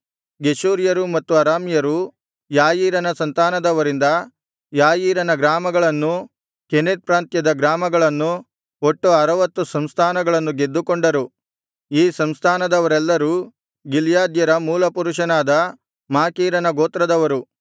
ಗೆಷೂರ್ಯರು ಮತ್ತು ಅರಾಮ್ಯರು ಯಾಯೀರನ ಸಂತಾನದವರಿಂದ ಯಾಯೀರಿನ ಗ್ರಾಮಗಳನ್ನೂ ಕೆನತ್ ಪ್ರಾಂತ್ಯದ ಗ್ರಾಮಗಳನ್ನು ಒಟ್ಟು ಅರವತ್ತು ಸಂಸ್ಥಾನಗಳನ್ನು ಗೆದ್ದುಕೊಂಡರು ಈ ಸಂಸ್ಥಾನದವರೆಲ್ಲರೂ ಗಿಲ್ಯಾದ್ಯರ ಮೂಲಪುರುಷನಾದ ಮಾಕೀರನ ಗೋತ್ರದವರು